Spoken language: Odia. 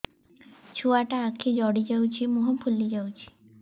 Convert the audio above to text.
ଛୁଆଟା ଆଖି ଜଡ଼ି ଯାଉଛି ମୁହଁ ଫୁଲି ଯାଉଛି